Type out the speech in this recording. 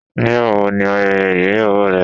Nígbàwó ní ayẹyẹ igbeyàwó rẹ?